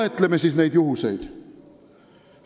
" Loetleme siis need juhused.